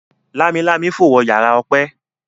Lámilámi fo wọ yàrá Ope.